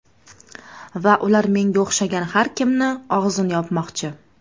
Va ular menga o‘xshagan har kimni og‘zini yopmoqchi.